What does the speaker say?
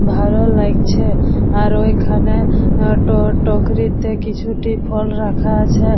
ভালো লাগছে আর এইখানে টক্রিতে কিছুটি ফল রাখা আছে।